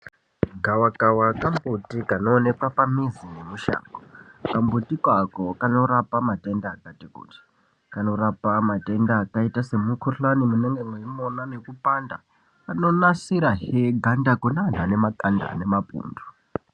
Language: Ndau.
Gava kava kambuti kano onekwa pambizi nemushango kambuti ako kanorapa matenda akati kuti, kanorapa matenda akaita semukhuhlani munenge mweimona nekupanda. Kanonasira zve ganda kune antu anemakanda ane mapundu.